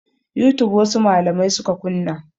Youtube wasu malamai suka kunna.